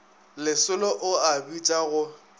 lesolo o a bitša go